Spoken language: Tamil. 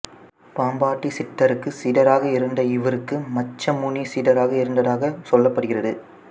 பாம்பாட்டிச் சித்தருக்கு சீடராக இருந்த இவருக்கு மச்சமுனி சீடராக இருந்ததாக சொல்லப் படுகிறது